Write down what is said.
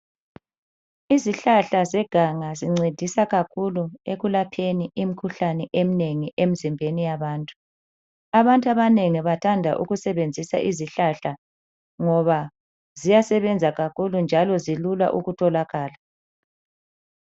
Izihlahla zeganga zincedisa kakhulu ekulapheni imikhuhlane eminengi emzimbeni yabantu. Abantu abanengi bathanda ukusebenzisa izihlahla ngoba ziyasebenza kakhulu njalo zilula ukutholakala.